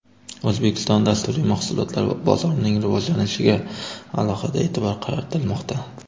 O‘zbekiston dasturiy mahsulotlar bozorining rivojlanishiga alohida e’tibor qaratilmoqda.